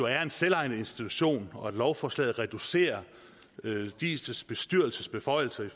er en selvejende institution og at lovforslaget reducerer diis bestyrelses beføjelser i